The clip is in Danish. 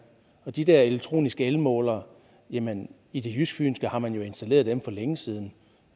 og de der elektroniske elmålere jamen i det jysk fynske har man jo installeret dem for længe siden